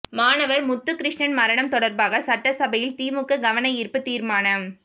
மாணவர் முத்துக்கிருஷ்ணன் மரணம் தொடர்பாக சட்டசபையில் திமுக கவன ஈர்ப்பு தீர்மானம்